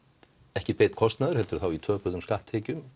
ekki beinn kostnaður heldur í töpuðum skatttekjum